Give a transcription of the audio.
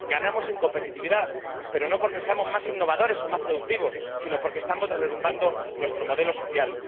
Ganamos en competitividad, pero no porque seamos más innovadores o más productivos sino porque estamos derrumbando nuestro modelo social.